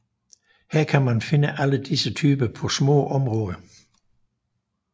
Her kan man finde alle disse typer på små områder